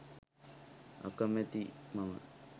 අකමැති මම